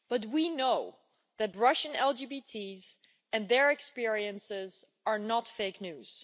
We know that Russian LGBTIs and their experiences are not fake news.